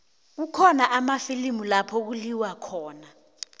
kukhona amafilimu lapho kuliwa khona